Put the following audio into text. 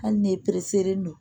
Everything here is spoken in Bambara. Hali ni don